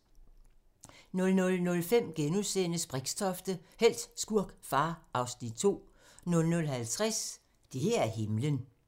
00:05: Brixtofte – helt, skurk, far (Afs. 2)* 00:50: Det her er himlen